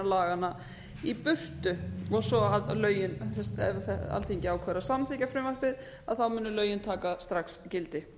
laganna í burtu svo að lögin ef alþingi ákveður að samþykkja frumvarpi munu lögin taka strax gildi